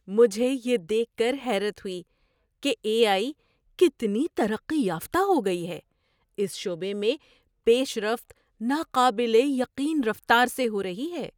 مجھے یہ دیکھ کر حیرت ہوئی کہ اے آئی کتنی ترقی یافتہ ہو گئی ہے۔ اس شعبے میں پیش رفت ناقابل یقین رفتار سے ہو رہی ہے۔